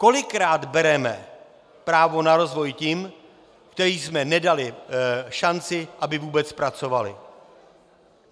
Kolikrát bereme právo na rozvoj těm, kterým jsme nedali šanci, aby vůbec pracovali?